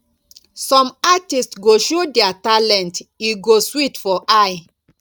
some artist go show dia talent e go sweet for eye